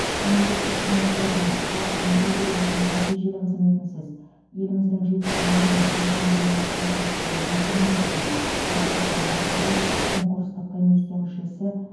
мемлекеттік қызметшілердің халықтың игілігі үшін нәтижелі қызметінсіз еліміздің жетістігі мен өркендеуіне қол жеткізу мүмкін емес деді марапаттау барысында конкурстық комиссия мүшесі